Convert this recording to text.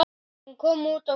Hún kom út á frönsku